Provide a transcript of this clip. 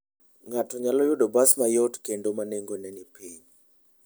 Ng'ato nyalo yudo bas mayot kendo ma nengone ni piny.